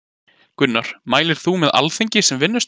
Gunnar: Mælir þú með Alþingi sem vinnustað?